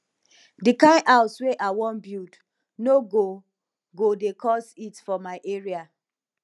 di kind house wey i wan build no go go dey cause heat for my area